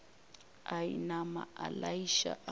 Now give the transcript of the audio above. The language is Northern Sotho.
a inama a laiša a